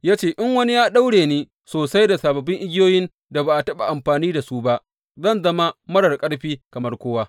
Ya ce, In wani ya ɗaura ni sosai da sababbin igiyoyin da ba a taɓa amfani da su ba, zan zama marar ƙarfi kamar kowa.